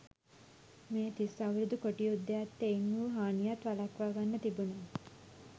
මේ තිස් අවුරුදු කොටි යුද්ධයත් එයින් වූ හානියත් වලක්වා ගන්න තිබුණා.